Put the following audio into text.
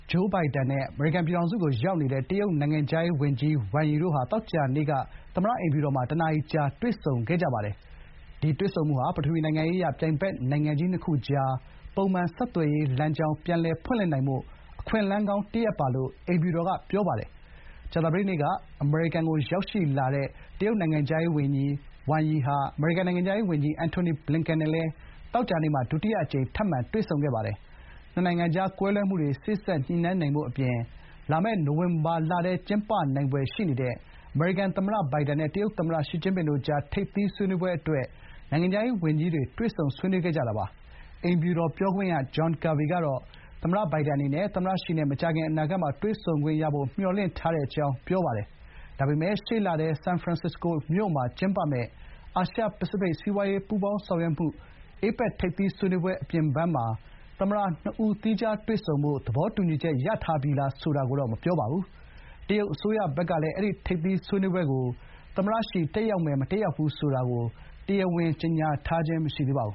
ဂျိုးဘိုင်ဒန် နဲ့ အမေရိကန်ပြည်ထောင်စုကို ရောက်နေတဲ့ တရုတ် နိုင်ငံခြားရေးဝန်ကြီး ဝမ်ရီ တို့ သောကြာနေ့က သမ္မတ အိမ်ဖြူတော်မှာ ၁ နာရီကြာ တွေ့ဆုံခဲ့ကြပါတယ်။ ဒီတွေ့ဆုံမှုဟာ ပထဝီနိုင်ငံရေးအရ ပြိုင်ဘက်နိုင်ငံကြီး နှစ်ခုကြား ပုံမှန် ဆက်သွယ်ရေး လမ်းကြောင်း ပြန်လည် ဖွင့်လင့်နိုင်ဖို့ အခွင့်အလမ်းကောင်းတရပ်ပါလို့ အိမ်ဖြူတော်က ပြောပါတယ်။ ကြာသပတေးနေ့က အမေရိကန် ပြည်ထောင်စုကို ရောက်ရှိလာတဲ့ တရုတ်နိုင်ငံခြားရေး ဝန်ကြီး ဝမ်ရီဟာ အမေရိကန်နိုင်ငံခြားရေးဝန်ကြီး Antony Blinken နဲ့လည်း သောကြာနေ့မှာ ဒုတိယအကြိမ် ထပ်မံ တွေ့ဆုံခဲ့ပါတယ်။ နှစ်နိုင်ငံကြား ကွဲလွဲမှုတွေ စေ့စပ်ညှိနှိုင်းနိုင်ဖို့အပြင် လာမယ့် နိုဝင်ဘာလထဲ ကျင်းပနိုင်ဖွယ်ရှိနေတဲ့ အမေရိကန် သမ္မတဘိုင်ဒန်နဲ့ တရုတ်သမ္မတ ရှီကျင်းပင်တို့ကြား ထိပ်သီး ဆွေးနွေးပွဲ အတွက် နိုင်ငံခြားရေးဝန်ကြီးတွေ ဆွေးနွေးခဲ့ကြတာပါ။ အိမ်ဖြူတော် ပြောခွင့်ရ John Kirby ကတော့ သမ္မတ ဘိုင်ဒန်အနေနဲ့ သမ္မတရှီနဲ့ မကြာခင် အနာဂတ်မှာ တွေ့ဆုံခွင့်ရဖို့ မျှော်လင့်ထားတဲ့အကြောင်း ပြောပါတယ်။ ဒါပေမဲ့ ရှေ့လထဲ San Francisco မြို့မှာကျင်းပမယ့် အာရှ−ပစိဖိတ် စီးပွားရေး ပူးပေါင်းဆောင်ရွက်မှု ထိပ်သီးဆွေးနွေးပွဲ အပြင်ဘန်းမှာ သမ္မတ နှစ်ဦး သီးခြား တွေ့ဆုံဖို့ သဘောတူညီချက် ရထားပြီလား ဆိုတာကိုတော့ မပြောပါဘူး။ တရုတ် အစိုးရဘက်ကလည်း အဲ့ဒီ ထိပ်သီး ဆွေးနွေးပွဲကို သမ္မတရှီ တက်ရောက်မယ် မတက်ရောက်ဘူးဆိုတာကို တရားဝင် ကြေညာတာ မရှိသေးပါဘူး